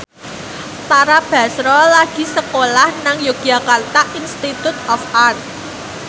Tara Basro lagi sekolah nang Yogyakarta Institute of Art